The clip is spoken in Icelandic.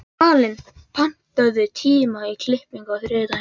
Malen, pantaðu tíma í klippingu á þriðjudaginn.